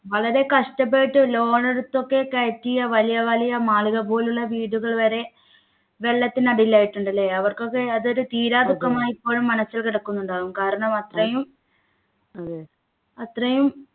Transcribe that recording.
വളരെ കഷ്ടപ്പെട്ട് loan എടുത്ത് ഒക്കെ കയറ്റിയ വലിയ വലിയ മാളിക പോലുള്ള വീടുകൾ വരെ വെള്ളത്തിനടിയിൽ ആയിട്ടുണ്ട് ല്ലേ അവർക്കൊക്കെ അതൊരു തീരാദുഃഖമായി ഇപ്പോഴും മനസ്സിൽ കിടക്കുന്നുണ്ടാവും കാരണം അത്രയും അത്രയും